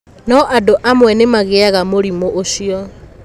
No andũ amwe nĩ magĩaga mũrimũ ũcio.